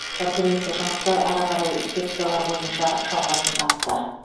конференция жұмысы ары қарай секциялар бойынша жалғасын тапты